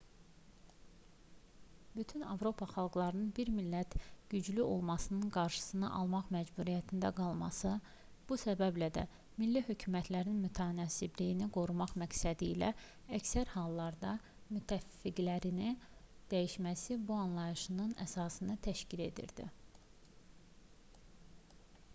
bütün avropa xalqlarının bir millətin güclü olmasının qarşısını almaq məcburiyyətində qalması bu səbəblə də milli hökumətlərin mütənasibliyi qorumaq məqsədilə əksər hallarda müttəfiqlərini dəyişməsi bu anlayışın əsasını təşkil edirdi